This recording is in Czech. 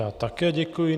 Já také děkuji.